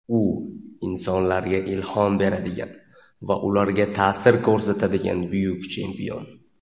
U — insonlarga ilhom beradigan va ularga taʼsir ko‘rsatadigan buyuk chempion.